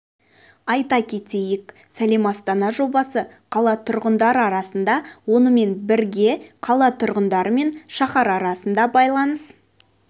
айта кетейік сәлем астана жобасы қала тұрғындары арасында онымен бірге қала тұрғындары мен шаһар арасында байланыс